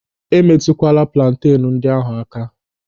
E metụkwala plantenu ndị ahụ aka!